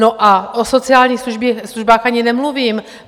No a o sociálních službách ani nemluvím.